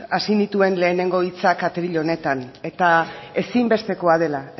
hasi nituen lehenengo hitzak atril honetan eta ezinbestekoa dela